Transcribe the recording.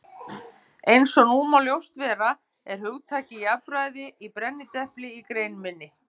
Eins og nú má ljóst vera er hugtakið jafnræði í brennidepli í grein minni.